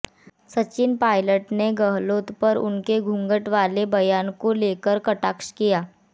सचिन पायलट ने गहलोत पर उनके घूँघट वाले बयान को लेकर कटाक्ष किया